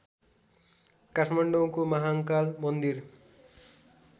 काठमाडौको महाँकाल मन्दिर